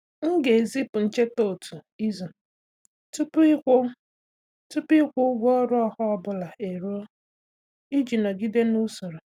M ga-ezipụ ncheta otu izu tupu ịkwụ tupu ịkwụ ụgwọ ọrụ ọha ọ bụla eruo iji nọgide n'usoro.